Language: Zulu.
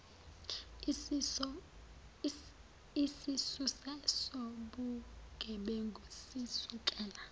isisusa sobugebengu sisukela